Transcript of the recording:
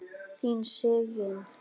Þín Sigyn.